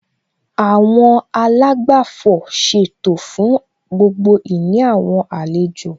Àwọn àlágbàfọ̀ ṣètò fún gbogbo ìní àwọn àlejò